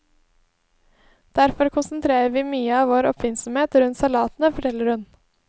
Derfor konsentrerer vi mye av vår oppfinnsomhet rundt salatene, forteller hun.